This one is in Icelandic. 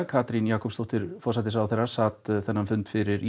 Katrín Jakobsdóttir forsætisráðherra sat fundinn fyrir